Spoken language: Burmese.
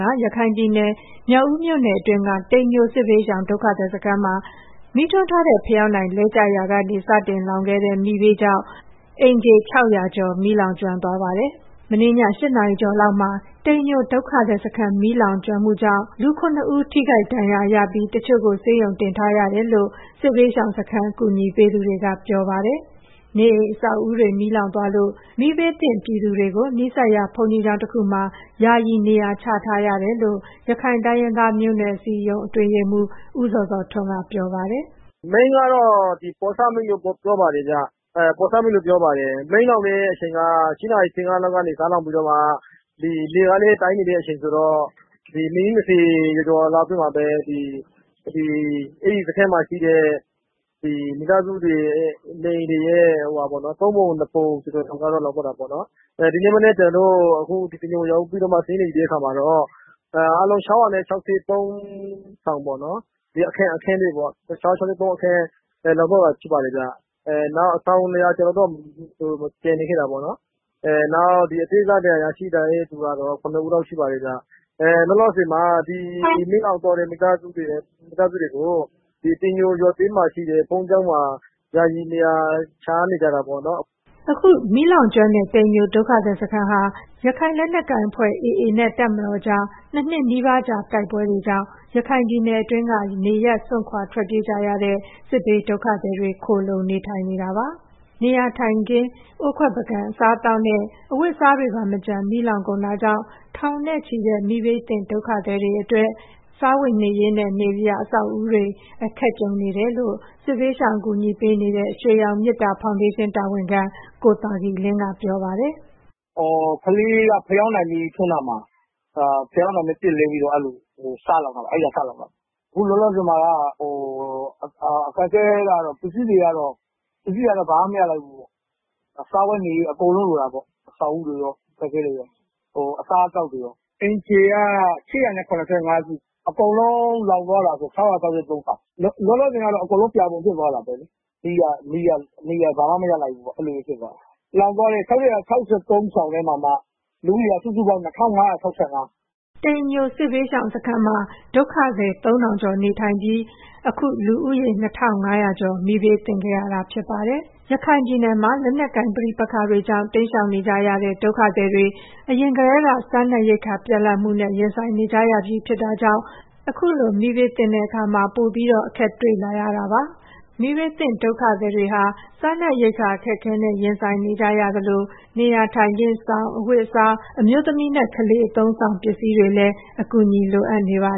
က ရခိုင်ပြည်နယ် မြောက်ဦးမြို့နယ်အတွင်းက တိမ်ညိုစစ်ဘေးရှောင် ဒုက္ခသည်စခန်းမှာ မီးထွန်းထားတဲ့ ဖယောင်းတိုင်လဲကျရာကနေ စတင်လောင်ခဲ့တဲ့ မီးဘေးအတွင်း အိမ်ခြေ ၆၀၀ ကျော် မီးလောင်ကျွမ်းသွားပါတယ်။ မနေ့ည ၈ နာရီကျော်လောက်မှာ တိမ်ညိုဒုက္ခသည်စခန်း မီးလောင်ကျွမ်းမှုအတွင်း လူ ၇ ဦး ထိခိုက်ဒဏ်ရာရပြီး တချို့ကို ဆေးရုံတင်တယ်လို့ စစ်ဘေးရှောင်စခန်း အကူအညီပေးသူတွေက ပြောပါတယ်။ နေအိမ်အဆောက်အဦးတွေ မီးလောင်သွားလို့ နီးစပ်ရာ ဘုန်းကြီးကျောင်းတခုမှာ ယာယီနေရာချထားတယ်လို့ ရခိုင်တိုင်းရင်းသားမျိုးနွယ်များ အစည်းအရုံးအတွင်းရေးမှူး ဦးဇော်ဇော်ထွန်းက ပြောပါတယ်။ “မီးကတော့ ပေါ့ဆမီးလို့ပြောပါတယ်။ မီးလောင်တဲ့ အချိန်က ၈ နာရီ ၁၅ လောက်ကနေ စလောင်ပြီးတော့မှ လေကလည်း တိုက်နေတဲ့ အချိန်ဆိုတော့ မိနစ် ၂၀ ကျော်ကျော်လောက်မှာပဲ အဲ့ဒီစခန်းမှာ ရှိနေတဲ့ မိသားစုတွေရဲ့ နေအိမ်တွေရဲ့ သုံးပုံ နှစ်ပုံကျော်ကျော်က လောင်သွားတာပေါ့နော်။ ဒီနေ့မနက် ကျနော်တို့ အခု တိမ်ညိုရောက်ပြီးတော့မှ စာရင်းတွေ ယူတဲ့အခါမှာတော့ အားလုံး ၆၆၃ ဆောင်ပေါ့နော်၊ အခန်းတွေပေါ့ လောင်သွားတာဖြစ်ပါတယ်။ နောက်အဆောင် ၂၀၀ ကျော်တော့ ကျန်နေခဲ့တယ်ပေါ့နော်။ နောက်အသေးစား ဒဏ်ရာရှိသူကတော့ ၇ ဦးလောက်ရှိပါတယ်ဗျ။ လောလောဆယ်မှာ ဒီမီးလောင်သွားတဲ့ မိသားစုတွေကို တိမ်ညိုရွာထဲမှာရှိတဲ့ ဘုန်းကြီးကျောင်းမှာ ယာယီနေရာချထားရတာပေါ့နော်။” ဒီ တိမ်ညိုဒုက္ခသည်စခန်းဟာ ရခိုင်လက်နက်ကိုင်အဖွဲ့ AA နဲ့ တပ်မတော်ကြား ၂ နှစ်နီးပါးကြာ တိုက်ပွဲတွေကြောင့် ရခိုင်ပြည်နယ်တွင်း နေရပ်စွန့်ခွာထွက်ပြေးကြရတဲ့ စစ်ဘေးဒုက္ခသည်တွေ ခိုလှုံနေထိုင်နေတာပါ။ နေအိမ်ထိုင်ခင်း၊ အိုးခွက်ပန်ကန်၊ အစားအသောက်နဲ့ အဝတ်အစားတွေပါ မကျန်လောင်ကျွမ်းကုန်တာကြောင့် ထောင်နဲ့ချီတဲ့ မီးဘေးသင့် ဒုက္ခသည်တွေအတွက် စားဝတ်နေရေးနဲ့ နေစရာအဆောက်အဦးတွေ အခက်ကြုံနေရတယ်လို့ စစ်ဘေးရှောင်အကူအညီပေးနေတဲ့ ရွှေရောင်မေတ္တာဖောင်ဒေးရှင်း တာဝန်ခံကိုသာကီလင်း က ပြောပါတယ်။ “ကလေးက ဖယောင်တိုင်းမီးထွန်းတာ။ ဖယောင်တိုင်းမီးပစ်လဲပြီးတော့ အဲ့ဒီလိုမျိုး စလောင်တာပါ။ အခုလောလောဆယ်မှာ အခက်အခဲကတော့ ပစ္စည်းတွေကတော့ ဘာမှ မရလိုက်ဘူးပေါ့။ စားဝတ်နေရေး အကုန်လုံးလိုတာပေါ့။ အဆောင်အဦးတွေရော၊ အခက်အခဲတွေရော၊ အစားအသောက်တွေရောပေါ့။ အိမ်ခြေက ၈၇၅ စု အကုန်လုံး လောင်သွားတာဆို ၆၆၃ ဆောင်။ လောလောဆယ်ကတော့ အကုန်လုံးပြာပုံဖြစ်သွားတာပဲလေ။ ဘာမှမရလိုက်ဘူးပေါ့နော်။ လောင်သွားတာ ၆၆၃ ထဲမှာမှ လူဦးရေစုစုပေါင်း ၂,၅၆၅။” ဒီ တိမ်ညိုစစ်ရှောင်စခန်းမှာ ဒုက္ခသည် ကျော်ရှိတဲ့အထဲ လူဦးရေ ၂,၅၀၀ ကျော်က မီးဘေးသင့်သွားတာပါ။ ရခိုင်ပြည်နယ်မှာ လက်နက်ကိုင်ပဋိပက္ခတွေကြောင့် တိမ်းရှောင်နေကြရတဲ့ ဒုက္ခသည်တွေ အရင်ကတည်းက စားနပ်ရိက္ခာပြတ်လပ်မှုနဲ့ ရင်ဆိုင်နေကြရပြီဖြစ်တာမို့ အခုလို မီးဘေးသင့်သွားတာကြောင့် ပိုမိုအခက်အခဲကြုံတွေ့နေရပါတယ်။ မီးဘေးသင့် ဒုက္ခသည်တွေ စားနပ်ရိက္ခာအခက်အခဲနဲ့ ရင်ဆိုင်နေကြရသလို နေရာထိုင်ခင်း၊ စောင်၊ အဝတ်အစား၊ အမျိုးသမီးနဲ့ ကလေးအသုံးအဆောင်ပစ္စည်းတွေလည်း အကူအညီ လိုအပ်နေပါ